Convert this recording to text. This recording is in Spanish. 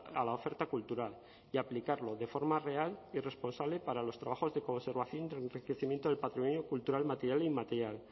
a la oferta cultural y aplicarlo de forma real y responsable para los trabajos de conservación de enriquecimiento del patrimonio cultural material e inmaterial